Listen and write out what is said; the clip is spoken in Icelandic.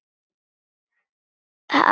Var hann um borð?